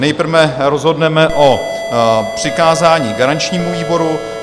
Nejprve rozhodneme o přikázání garančnímu výboru.